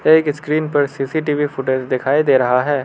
एक स्क्रीन पर CCTV footage दिखाई दे रहा है।